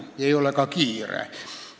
Sellega ei ole ka kiire.